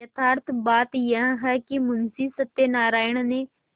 यथार्थ बात यह है कि मुंशी सत्यनाराण ने